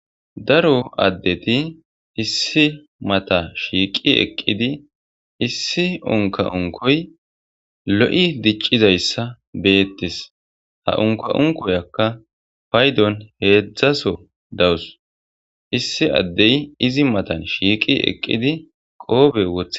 Daro addeti issi mata shiiqi eqqidi issi unka'unkoy lo'i diccizayssa beettis ha unka'unkoyakka paydon heedzdzaso dawus issi addey izi matan shiiqi eqqidi qoobe wothe.